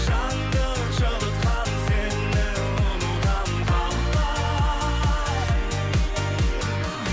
жанды жылытқан сені ұмытамын қалай